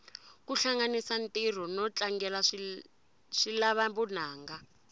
kuhlanganisa ntiro notlangela swilava vunanga